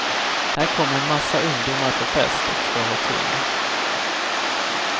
Här kommer en massa ungdomar på fest och ska ha kul.